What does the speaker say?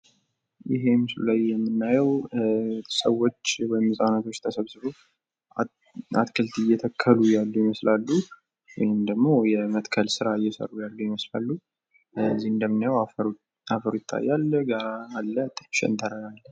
ይህ ምስሉ ላይ የምናየው ሰዎች ወይም ሕጻናት ተሰብስበው አትክልት እየተከሉ ያሉ ይመስላሉ ፤ ወይም ደሞ የመትከል ስራ እየሰሩ ያሉ ይመስላሉ ፤ እዚህ እንደምናየው አፈሩ ይታያል፣ ጋራ አለ፣ ሸንተረር አለ።